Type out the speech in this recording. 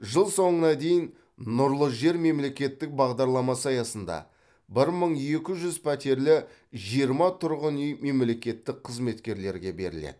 жыл соңына дейін нұрлы жер мемлекеттік бағдарламасы аясында бір мың екі жүз пәтерлі жиырма тұрғын үй мемлекеттік қызметкерлерге беріледі